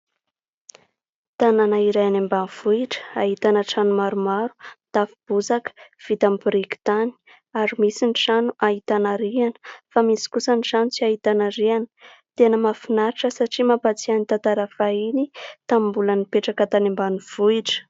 Tanàna iray any ambanivohitra, ahitana trano maromaro; mitafo bozaka, vita amin'ny biriky tany ary misy ny trano ahitana rihana fa misy kosa ny trano tsy ahitana rihana. Tena mahafinaritra satria mapatsiahy ny tantara fahiny tamin'ny mbola nipetraka tany ambanivohitra.